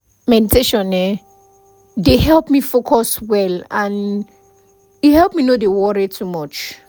meditation[um]dey help me focus well and e help me no dey worry too much